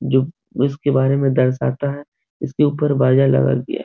जो उसके बारे में दर्शाता है इसके ऊपर बजा लगा दिया --